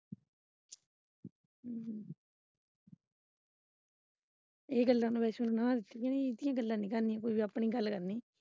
ਇਹ ਗੱਲਾਂ ਨੂੰੰ ਵੈਸਨੂੰ ਨੇ ਨਾਂਹ ਦਿੱਤੀ ਇਹੋ ਜਿਹੀਆਂ ਗੱਲਾਂ ਨੀ ਕਰਨੀਆਂ ਕੋਈ ਵੀ ਆਪਣੀ ਗੱਲ ਕਰਨੀ।